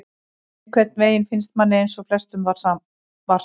Einhvern veginn finnst manni eins og flestum var sama,